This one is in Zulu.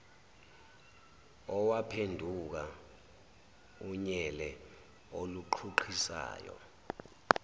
owaphenduka unyele oluqhuqhisayo